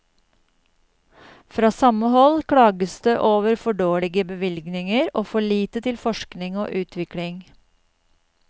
Fra samme hold klages det over for dårlige bevilgninger og for lite til forskning og utvikling.